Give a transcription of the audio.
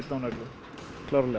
á nöglum klárlega